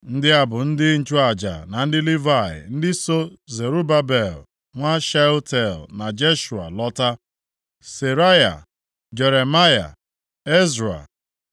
Ndị a bụ ndị nchụaja na ndị Livayị ndị so Zerubabel nwa Shealtiel na Jeshua lọta. Seraya, Jeremaya, Ezra, + 12:1 Ezra nke a, abụghị Ezra onye nchụaja. Onye bụ ọka nʼihe gbasara iwu Onyenwe anyị, nke si nʼezinaụlọ Seraya. Gụọ akwụkwọ \+xt Ezr 7:1-5\+xt*